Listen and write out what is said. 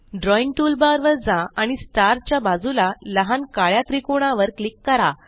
drawing toolbar वर जा आणि स्टार च्या बजुला लहान काळ्या त्रिकोणावर क्लिक करा